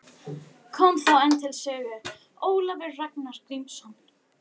Kom þá enn til sögu Ólafur Ragnar Grímsson.